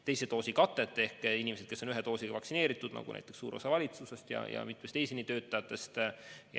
Need on inimesed, kes on ühe doosiga vaktsineeritud, nagu näiteks suur osa valitsusest ja eesliinitöötajatest.